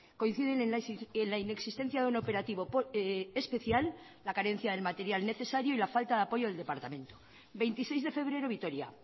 coinciden en la inexistencia de un operativo especial la carencia del material necesario y la falta de apoyo del departamento veintiseis de febrero vitoria